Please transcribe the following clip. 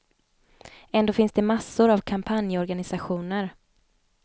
Ändå finns det massor av kampanjorganisationer.